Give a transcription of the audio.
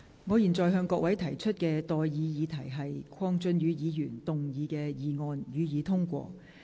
我現在向各位提出的待議議題是：鄺俊宇議員動議的議案，予以通過。